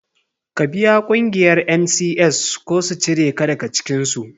Ka biya ƙungiyar NCS ko u cire ka daga cikinsu.